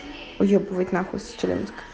уебывать на хуй с челябинска